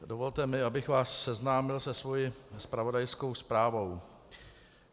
Dovolte mi, abych vás seznámil se svou zpravodajskou zprávou.